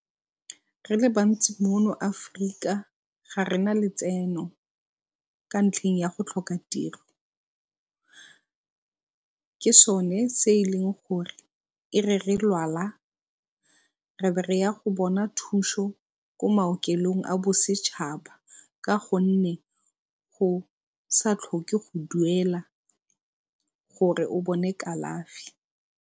Re le bantsi mono Aforika ga rena letseno ka ntlheng ya go tlhoka tiro. Ke sone se e leng gore e re re lwala ra bo re ya go bona thuso ko maokelong a bosetšhaba ka gonne go sa tlhoke go duela gore o bone kalafi.